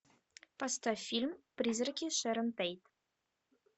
поставь фильм призраки шэрон тейт